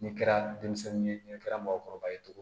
Ni kɛra denmisɛnnin ye ni kɛra mɔgɔkɔrɔba ye cogo di